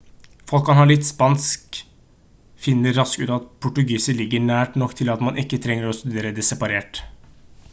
folk som kan litt spansk finner raskt ut at portugisisk ligger nær nok til at man ikke trenger å studere det separat